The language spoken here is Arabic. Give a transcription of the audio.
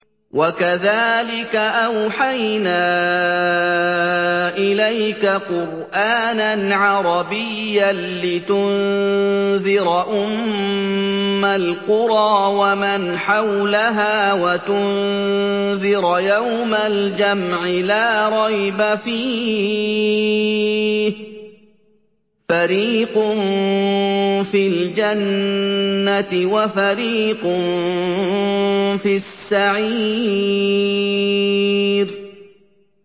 وَكَذَٰلِكَ أَوْحَيْنَا إِلَيْكَ قُرْآنًا عَرَبِيًّا لِّتُنذِرَ أُمَّ الْقُرَىٰ وَمَنْ حَوْلَهَا وَتُنذِرَ يَوْمَ الْجَمْعِ لَا رَيْبَ فِيهِ ۚ فَرِيقٌ فِي الْجَنَّةِ وَفَرِيقٌ فِي السَّعِيرِ